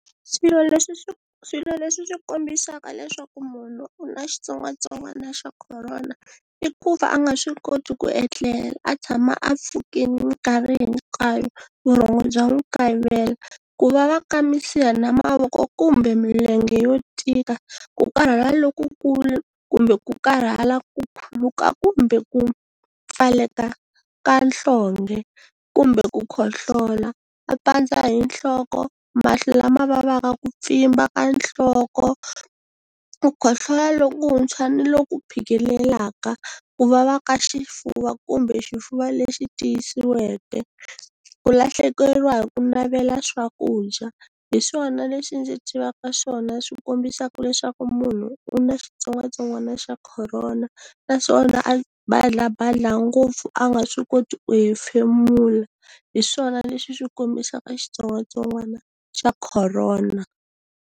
Swilo leswi swi swilo leswi swi kombisaka leswaku munhu u na xitsongwatsongwana xa khorona i ku va a nga swi koti ku etlela a tshama a pfukini minkarhi hinkwayo vurhongo bya n'wi kayivela, ku vava ka misiha na mavoko kumbe milenge yo tika, ku karhala lokukulu kumbe ku karhala ku khuluka kumbe ku pfaleka ka nhlonge kumbe ku khohlola, a pandza hi nhloko, mahlo lama vavaka, ku pfimba ka nhloko, ku khohlola lokuntshwa ni lo ku phikelelaka, ku vava ka xifuva kumbe xifuva lexi tiyisiweke, ku lahlekeriwa hi ku navela swakudya. Hi swona leswi ndzi tivaka swona swi kombisaka leswaku munhu u na xitsongwatsongwana xa khorona, naswona a badlabadla ngopfu a nga swi koti ku hefemula, hi swona leswi swi kombisaka xitsongwatsongwana xa khorona.